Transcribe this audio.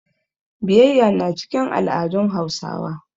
Biyayya na cikin al'adun Hausawa.